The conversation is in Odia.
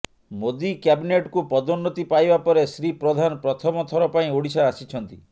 ମୋଦି କ୍ୟାବିନେଟକୁ ପଦୋନ୍ନତି ପାଇବା ପରେ ଶ୍ରୀ ପ୍ରଧାନ ପ୍ରଥମ ଥର ପାଇଁ ଓଡ଼ିଶା ଆସିଛନ୍ତି